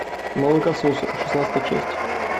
молокососы шестнадцатая часть